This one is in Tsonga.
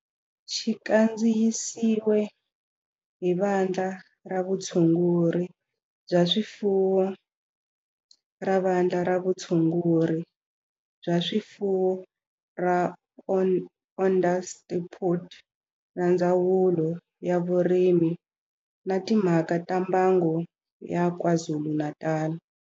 Xi kandziyisiwe hi Vandla ra Vutshunguri bya swifuwo ra Vandla ra Vutshunguri bya swifuwo ra Onderstepoort na Ndzawulo ya Vurimi na Timhaka ta Mbango ya KwaZulu-Natal.